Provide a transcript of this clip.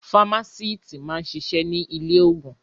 Fámásíítì máa ń ṣiṣẹ́ ní ilé-òògùn.